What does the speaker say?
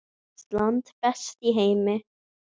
Ísland, best í heimi.